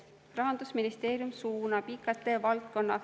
Rahandusministeerium suunab IKT valdkonna …